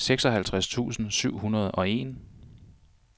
seksoghalvtreds tusind syv hundrede og en